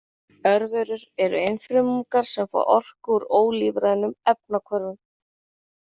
Örverur eru einfrumungar sem fá orku úr ólífrænum efnahvörfum.